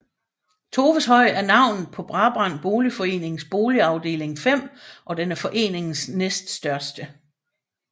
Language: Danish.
Toveshøj er navnet på Brabrand Boligforenings boligafdeling 5 og den er foreningens næststørste